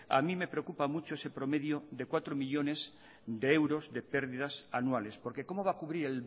a mí me preocupa mucho ese promedio de cuatro millónes de euros de pérdidas anuales porque cómo va a cubrir